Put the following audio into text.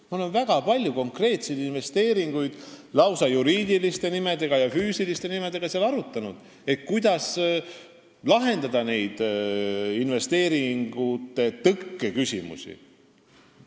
Me oleme seal väga palju arutanud konkreetseid juriidiliste ja füüsiliste isikute investeeringuid, kuidas lahendada nende investeeringute tõkke küsimusi.